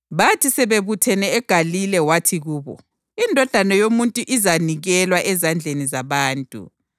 Bathi sebebuthene eGalile wathi kubo, “INdodana yoMuntu izanikelwa ezandleni zabantu.